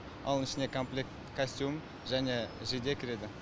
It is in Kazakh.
оның ішіне комплект костюм және жейде кіреді